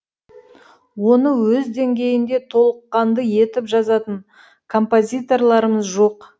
оны өз деңгейінде толыққанды етіп жазатын композиторларымыз жоқ